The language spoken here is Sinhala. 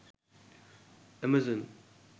amazon